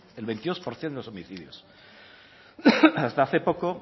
el veintidós por ciento de los homicidios hasta hace poco